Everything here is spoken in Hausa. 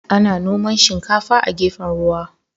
Ana noman shinkafa a gefen ruwa.